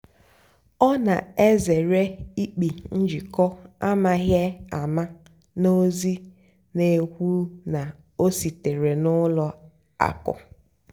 ọ́ nà-èzèré ị́kpị́ njìkọ́ àmághị́ àmá nà ózì nà-ékwú ná ó síteré nà ùlọ àkụ́.